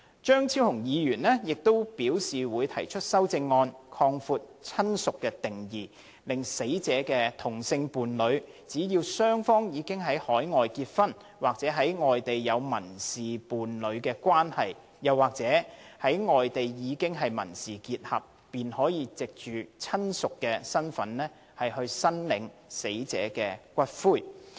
張超雄議員亦表示會提出修正案，擴闊"親屬"的定義，令死者的同性伴侶，只要雙方已在外地結婚，或在外地有民事伴侶關係、又或在外地經已民事結合，便可以"親屬"身份申索死者的骨灰。